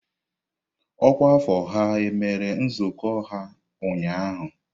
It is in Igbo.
Ọkwa afọ ha mere nzukọ ha ụnyahụ?